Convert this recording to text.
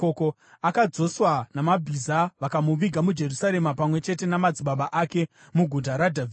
Akadzoswa namabhiza vakamuviga muJerusarema pamwe chete namadzibaba ake, muGuta raDhavhidhi.